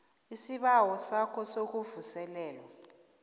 isibawo sakho sokuvuselelwa